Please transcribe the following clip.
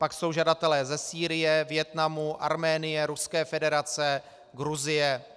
Pak jsou žadatelé ze Sýrie, Vietnamu, Arménie, Ruské federace, Gruzie.